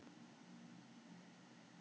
Það hefur verið ótrúleg þróun í þessu.